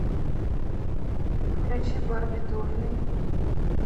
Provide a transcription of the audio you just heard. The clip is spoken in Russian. включи барбитурный